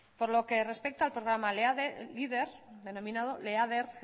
por lo que respecta al programa denominado leader